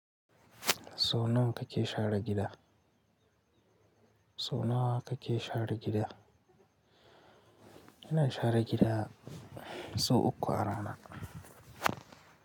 Sau nawa kake share gida? Sau nawa kake share gida? Ina share gida sau uku a rana.